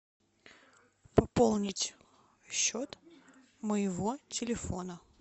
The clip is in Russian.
пополнить счет моего телефона